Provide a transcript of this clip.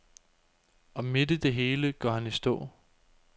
Og midt i det hele går han i stå.